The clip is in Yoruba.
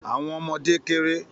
Àwọn ọwọ́ ọmọdé kérè